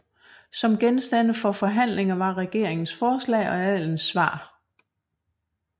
Som genstande for forhandlinger var regeringens forslag og adelens svar